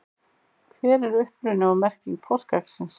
hver er uppruni og merking páskaeggsins